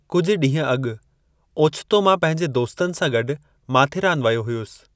कुझु ॾींहुं अॻु ओचितो मां पंहिंजे दोस्तनि सां गॾु माथेरान वयो हुयसि।